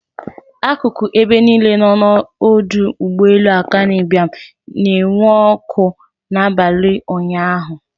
Akụkụ ebe niile nọ n'ọdọ ụgbọelu Akanu Ibiam na-enwu ọkụ n'abalị ụnyaahụ.